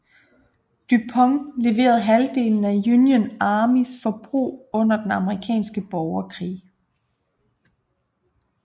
DuPont leverede halvdelen af Union Armys forbrug under den amerikanske borgerkrig